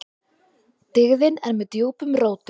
Dyggðin er með djúpum rótum.